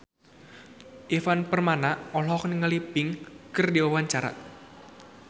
Ivan Permana olohok ningali Pink keur diwawancara